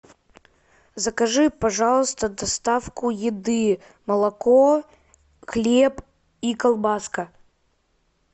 закажи пожалуйста доставку еды молоко хлеб и колбаска